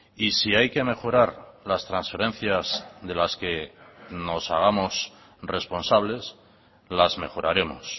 y si hay que mejorar las transferencias de las que nos hagamos responsables las mejoraremos